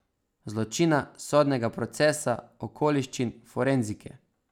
Zločina, sodnega procesa, okoliščin, forenzike ...